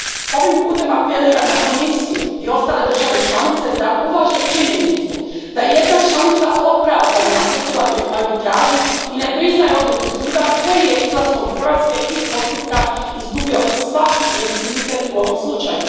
Ovim putem apeliram na Komisiju i ostale države članice da uvaže činjenicu da je jedna članica opravdano napustila arbitražu i ne priznaje odluku suda koji je, izlaskom Hrvatske iz postupka, izgubio svaki legitimitet u ovom slučaju.